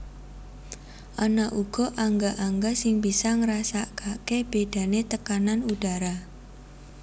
Ana uga angga angga sing bisa ngrasakaké bédané tekanan udhara